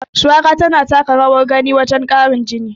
Shuwaka tana taka rawar gani wajen ƙarin jini.